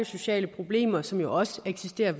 sociale problemer som jo også eksisterer